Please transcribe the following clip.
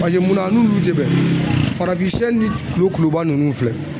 minna a n'olu tɛ bɛn farafin ni kulokuloba ninnu filɛ